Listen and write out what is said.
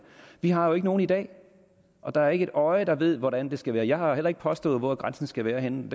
vi har jo ikke nogen i dag og der er ikke et øje der ved hvordan det skal være jeg har heller ikke påstået hvor grænsen skal være henne